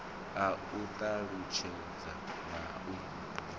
a u talutshedza na u